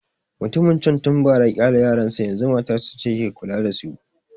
Mutumin can tun bara ya ƙyale yaran sa, yanzu matarsa ce ke kula da su